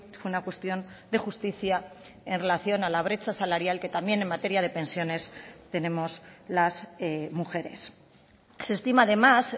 fue una cuestión de justicia en relación a la brecha salarial que también en materia de pensiones tenemos las mujeres se estima además